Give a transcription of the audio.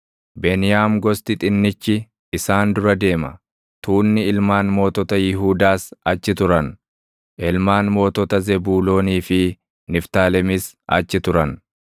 Beniyaam gosti xinnichi isaan dura deema; tuunni ilmaan mootota Yihuudaas achi turan; ilmaan mootota Zebuuloonii fi Niftaalemis achi turan.